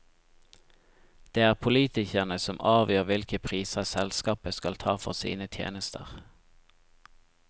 Det er politikerne som avgjør hvilke priser selskapet skal ta for sine tjenester.